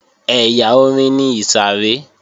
Ẹ̀yà orin ni ìsàrẹ́